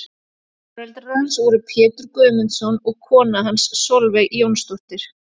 Foreldrar hans voru Pétur Guðmundsson og kona hans Solveig Jónsdóttir.